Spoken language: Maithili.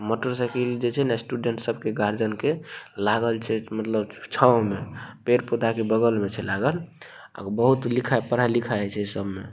मोटरसाइकिल सब जे छै ने स्टूडेंट सब के गार्जन के लागल छै मतलब छाव मे पेड़ पौधा के बगल मे छै लागल आ बहुत पढ़ाई लिखाय होय छै ए सब मे --